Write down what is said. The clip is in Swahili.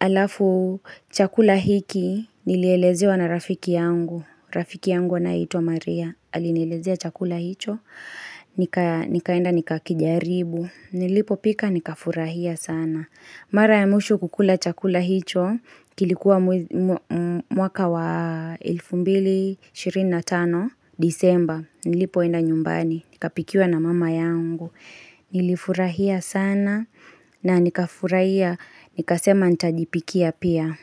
alafu chakula hiki nilielezewa na rafiki yangu, rafiki yangu anaitwa Maria, alinielezea chakula hicho, nika nikaenda nikakijaribu, nilipo pika nika furahia sana. Mara ya mwisho kukula chakula hicho kilikuwa mwez mw mwaka wa elfumbili 25 disemba nilipoenda nyumbani nikapikiwa na mama yangu nilifurahia sana na nika furahia nikasema ntajipikia pia.